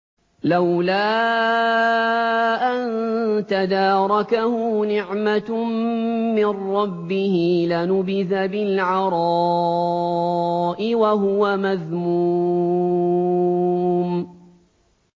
لَّوْلَا أَن تَدَارَكَهُ نِعْمَةٌ مِّن رَّبِّهِ لَنُبِذَ بِالْعَرَاءِ وَهُوَ مَذْمُومٌ